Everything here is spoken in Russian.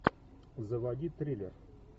заводи триллер